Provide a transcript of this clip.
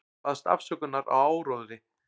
Baðst afsökunar á áróðri